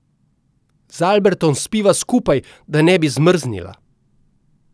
Z Albertom spiva skupaj, da ne bi zmrznila.